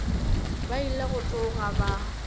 ba ile go tsoga ba